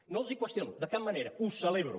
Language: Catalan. no els ho qüestiono de cap manera ho celebro